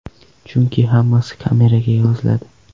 Chunki hammasi kameraga yoziladi.